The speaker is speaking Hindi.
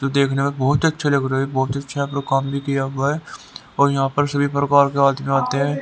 जो देखने में बहुत ही अच्छा लग रहा है बहुत अच्छा आप लोग काम भी किया हुआ है और यहां पर सभी प्रकार के आदमी आते हैं।